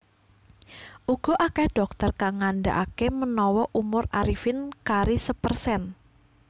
Uga akeh dhokter kang ngandakake menawa umur Arifin kari sepersen